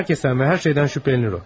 Hər kəsdən və hər şeydən şübhələnir o.